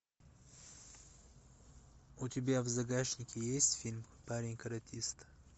у тебя в загашнике есть фильм парень каратист